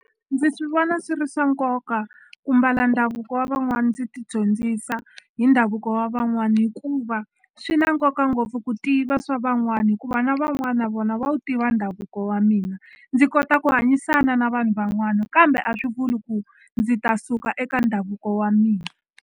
Ndzi swi vona swi ri swa nkoka ku mbala ndhavuko wa van'wani ndzi tidyondzisa hi ndhavuko wa van'wani hikuva swi na nkoka ngopfu ku tiva swa van'wani hikuva na van'wana na vona va wu tiva ndhavuko wa mina ndzi kota ku hanyisana na vanhu van'wana kambe a swi vuli ku ndzi ta suka eka ndhavuko wa mina.